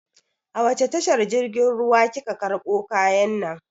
A wace tashar jirgin ruwa kika karɓo kayan nan?